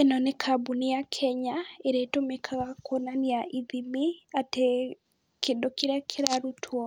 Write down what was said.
Ĩno nĩ kambũni ya Kenya ĩrĩa ĩtumĩkaga kwonania ithimi, atĩ kĩndũ kĩrĩa kĩrarutwo